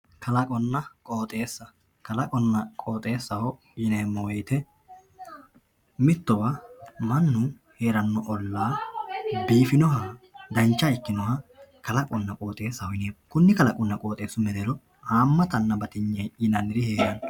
kalaqonna qooxeessa kalaqonna qooxeessaho yineemo woyiite mittowa mannu heerannowanna biifinoha dancha ikkinoha kalaqonna qooxeessaho yineemo konni kalaqonna qooxeessa mereero haamattanna batinye yinanniri heeranno.